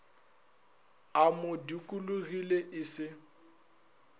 a mo dikologile e se